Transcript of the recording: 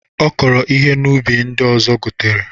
Ọ kọrọ ihe n'ubi ndị ọzọ gotere.